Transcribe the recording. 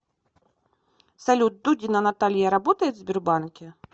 салют дудина наталья работает в сбербанке